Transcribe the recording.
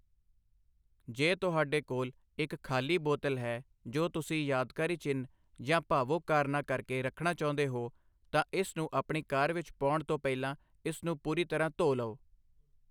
ਜੇ ਤੁਹਾਡੇ ਕੋਲ ਇੱਕ ਖ਼ਾਲੀ ਬੋਤਲ ਹੈ ਜੋ ਤੁਸੀਂ ਯਾਦਗਾਰੀ ਚਿੰਨ੍ਹ ਜਾਂ ਭਾਵੁਕ ਕਾਰਨਾਂ ਕਰਕੇ ਰੱਖਣਾ ਚਾਹੁੰਦੇ ਹੋ, ਤਾਂ ਇਸ ਨੂੰ ਆਪਣੀ ਕਾਰ ਵਿੱਚ ਪਾਉਣ ਤੋਂ ਪਹਿਲਾਂ ਇਸ ਨੂੰ ਪੂਰੀ ਤਰ੍ਹਾਂ ਧੋ ਲਓ।